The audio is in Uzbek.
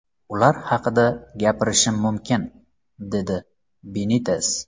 Ular haqida gapirishim mumkin”, dedi Benites.